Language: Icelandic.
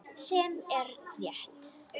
Sem er rétt.